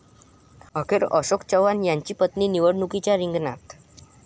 अखेर अशोक चव्हाण यांच्या पत्नी निवडणुकीच्या रिंगणात